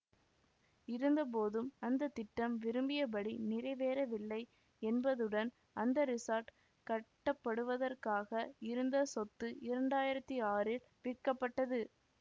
இருந்தபோதும் அந்த திட்டம் விரும்பியபடி நிறைவேறவில்லை என்பதுடன் அந்த ரிஸார்ட் கட்டப்படுவதற்காக இருந்த சொத்து இரண்டாயிரத்தி ஆறில் விற்கப்பட்டது